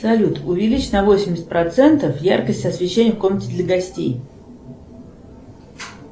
салют увеличь на восемьдесят процентов яркость освещения в комнате для гостей